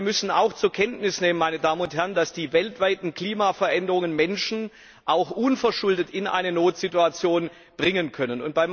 Aber wir müssen auch zur Kenntnis nehmen, dass die weltweiten Klimaveränderungen Menschen auch unverschuldet in eine Notsituation bringen können.